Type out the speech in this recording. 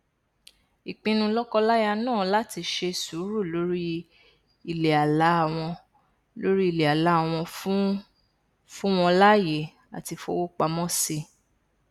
ìpinnu lọkọláya náà láti ṣe sùúrù lórí iléàlá wọn lórí iléàlá wọn fún wọn láàyè láti fowópamọ sí i